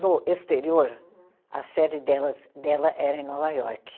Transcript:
No exterior. Uhum. A série delas, dela era em Nova York.